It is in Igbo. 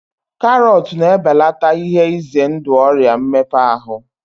Karọt na-ebelata ihe ize ndụ Ọrịa mmepe ahụ